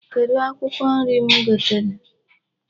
Kedụ akwụkwọ nri m gotere?